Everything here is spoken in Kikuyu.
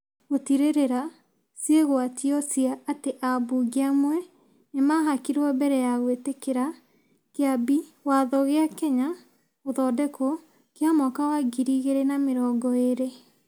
gũtirĩrĩra ciĩgwatio cia atĩ ambunge amwe nĩ mahakirwo mbere ya gwĩtĩkĩra Kĩambi Watho kĩa Kenya (Gũthondekwo) kĩa mwaka wa ngiri igĩrĩ na mĩrongo eerĩ.